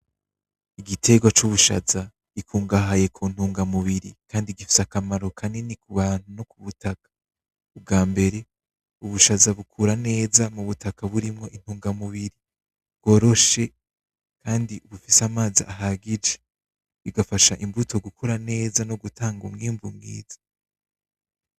Igitegwa cubushaza kirimwo ibitunga umubiri kandi gifise akamaro kanini kubantu no kwisindimwa ubwambere ubushaza bukura neza mwitongo ririmwo intabire kandi horoshe kandi rifise amazi ahagije bigafasha imbuto gukura neza no gutanga umwimbu mwiza.